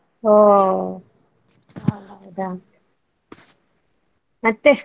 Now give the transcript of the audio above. ಹೋ ಹೌದಾ ಮತ್ತೆ?